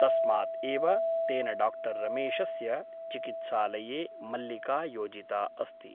तस्मात् एव तेन डाक्टर् रमेशस्य चिकित्सालये मल्लिका योजिता अस्ति ।